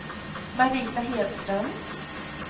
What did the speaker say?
Marita Hedström